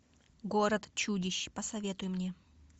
город чудищ посоветуй мне